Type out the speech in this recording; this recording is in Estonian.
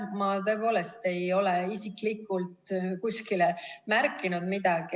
Ma tõepoolest ei ole isiklikult kuskile märkinud midagi.